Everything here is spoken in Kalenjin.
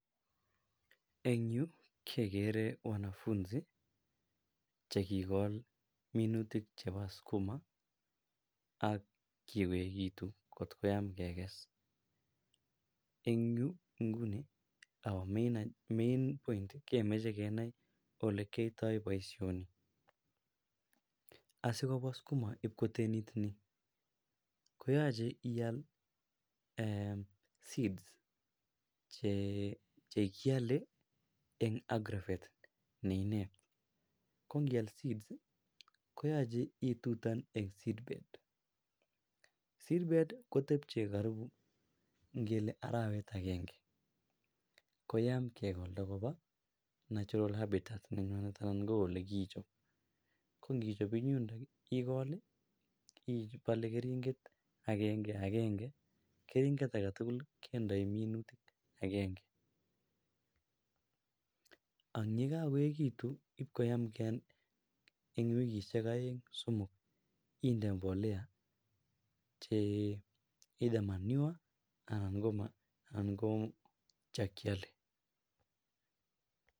en yuu kegeree wanafunzi chegigool minutik chebo skuma ak kiegitun kot koyaam keges, en yuu nguni, omiin kemoche kenai olegiyoitoo boishoni , asigobwaa sukuma iib kotenit nii koyoche iiaal seeds chekyolee en agrovet neinee kongiaal seeds koyoche itutan een seed bed, seed bed kotebche karibu ingelee araweet agenge koyaa kegolda kobaa narural habitat nenoton koo olegiichob ngo ngichob en yun igool ibole keringet agenge agenge, keringet agetuguk kindoi minutiik agenge, yigagoegitun iibkoyaam ke en wikisyeek oeng somook chee either manure anan ko chekyolee